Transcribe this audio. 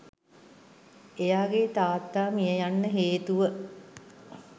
එයාගේ තාත්තා මිය යන්න හේතුව